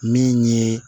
Min ye